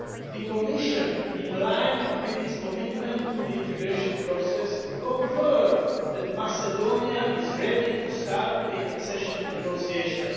The Commission, in line with its commitment to the integration process, confirms that Macedonia is ready to start accession negotiations.